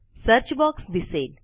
search box दिसेल